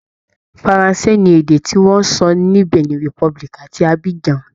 Faransé ni èdè tí wọn ń sọ ní Benin republic àti Abidjan